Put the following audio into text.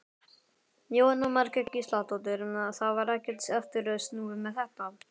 Jóhanna Margrét Gísladóttir: Það var ekkert aftur snúið með þetta?